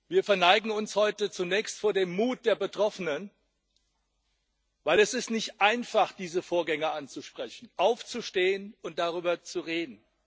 Wir verneigen uns heute zunächst vor dem Mut der Betroffenen, weil es nicht einfach ist diese Vorgänge anzusprechen, aufzustehen und darüber zu reden.